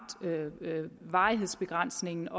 varighedsbegrænsningen